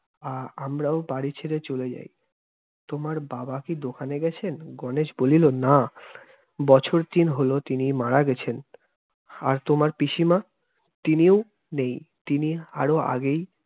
আহ আমরাও বাড়ি ছেরে চলে যাই। তোমার বাবা কি দোকানে গেছেন? গণেশ বলিলো, না, বছর তিন হলো তিনি মারা গেছেন! আর তোমার পিসিমা? তিনিও নেই, তিনি আরো আগেই